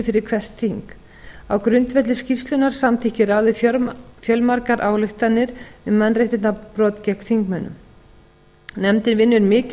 fyrir hvert þing á grundvelli skýrslunnar samþykkir ráðið fjölmargar ályktanir um mannréttindabrot gegn þingmönnum nefndin vinnur mikið